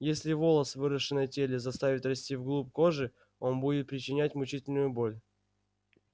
если волос выросший на теле заставить расти в глубь кожи он будет причинять мучительную боль